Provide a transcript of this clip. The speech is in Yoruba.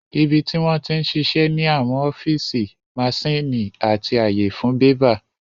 Ibi tí wọ́n ti ń ṣiṣẹ́ ní àwọn ọ́fíìsì, maṣíìnì àti ààyè fún bébà